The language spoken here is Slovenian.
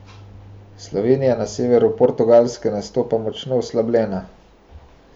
Slovenija na severu Portugalske nastopa močno oslabljena.